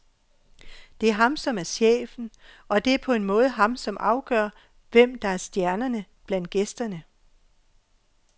Det er ham som er chefen, og det er på en måde ham, som afgør, hvem der er stjernerne blandt gæsteren.